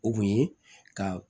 O kun ye ka